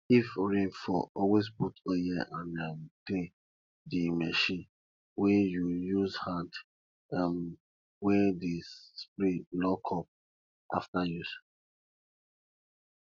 if rain fall always put oil and um clean the machine wey you use hand um wey dey spray lock up after use